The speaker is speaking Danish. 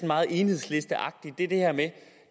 meget enhedslisteagtigt er det her med